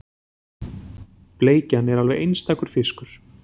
Bleikjan er alveg einstakur fiskur